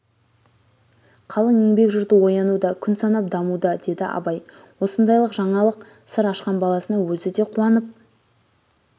қалың еңбек жұрты оянуда күн санап дамуда-деді абай осындайлық жаңалық сыр ашқан баласына өзі де қуанып